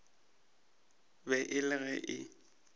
be e le ge e